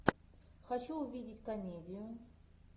хочу увидеть комедию